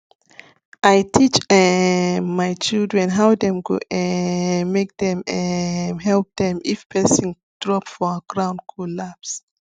i teach um my children how dem go um call make dem um help them if person drop for ground collapse